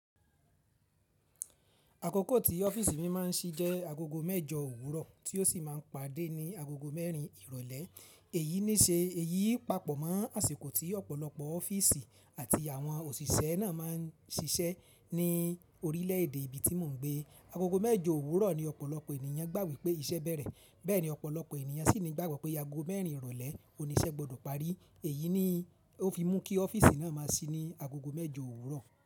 Àkókò tí ọ́fíìsì mi máa ń ṣí jẹ́ agogo mẹ́jọ òwúrọ̀ tí ó sì máa ń pàdé ní agogo mẹ́rin ìrọ̀lẹ́. Èyí ní ṣe, èyí pàpọ̀ mọ́ àsìkò tí ọ̀pọ̀lọpọ̀ ọ́fíìsì àti àwọn òṣìṣẹ́ náà máa ń ṣiṣẹ́ ní orílẹ̀ èdè ibi tí mò ń gbé. Agogo mẹ́jọ òwúrọ̀ ni ọ̀pọ̀lọpọ̀ ènìyàn gbà wípé iṣẹ́ bẹ̀rẹ̀. Bẹ́ẹ̀ ni ọ̀pọ̀lọpọ̀ ènìyàn sì ní gbàgbọ́ pé ago mẹ́rin ìrọ̀lẹ́ òní iṣẹ́ gbọdọ̀ parí. Èyí ni ó fi mú kí ọ́fíìsì náà máa ṣí ní agogo mẹ́jọ òwúrọ̀.